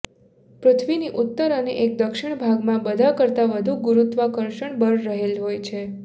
પૃથ્વીની ઉત્તર અને એક દક્ષિણ ભાગમાં બધા કરતા વધુ ગુરુત્વાકર્ષણ બળ રહેલ હોય છે